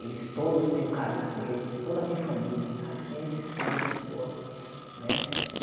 Eles todos têm um carinho por ele, toda a minha família, sabe sem exceção de pessoas né.